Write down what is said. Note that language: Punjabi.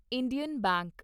Indian bank